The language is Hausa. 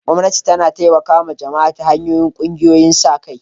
Gwamnati tana taimakawa jama'a ta hanyar ƙungiyoyin sa-kai.